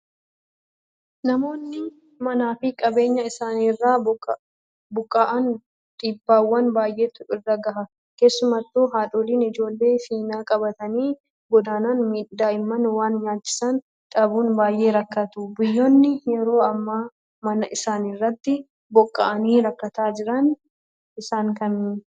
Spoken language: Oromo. Namoonni manaa fi qabeenya isaaniirraa buqqa'an dhiibbaawwan baay'eetu irra gaha. Keessattuu haadholiin ijoollee finna qabatanii godaanan daa'imman waan nyaachisan dhabuun baay'ee rakkatu. Biyyoonni yeroo ammaa mana isaaniirraa buqqa'anii rakkataa jiran isaan kamii?